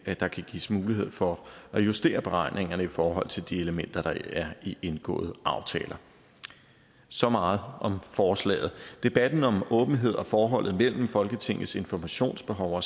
at der kan gives mulighed for at justere beregningerne i forhold til de elementer der er i indgåede aftaler så meget om forslaget debatten om åbenhed og forholdet mellem folketingets informationsbehov og